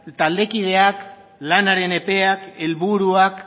taldekideak lanaren epeak helburuak